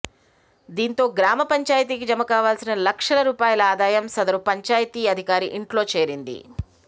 దీంతో గ్రామ పంచాయతీకి జమ కావాల్సిన లక్షల రూపాయల ఆదాయం సదరు పంచాయతీ అధికారి ఇంట్లో చేరింది